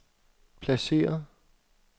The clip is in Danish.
placeret